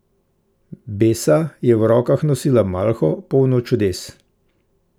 Besa je v rokah nosila malho, polno čudes.